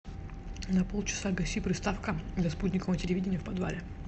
на полчаса гаси приставка для спутникового телевидения в подвале